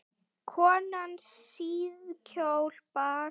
Konan síðkjól bar.